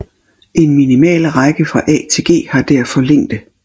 En minimalrække fra A til G har derfor længde